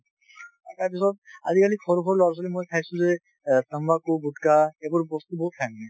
আজিকালি সৰু সৰু ল'ৰা ছোৱালী মই চাইছো যে অ তাম্বাকু গুটখা এইবোৰ বস্তু বহুত খাই মানে।